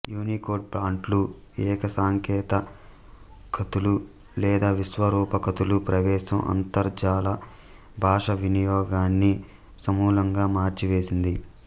Unicode ఫాంట్ల ఏకసంకేత ఖతులు లేదా విశ్వరూప ఖతులు ప్రవేశం అంతర్జాల భాషావినియోగాన్ని సమూలంగా మార్చివేసింది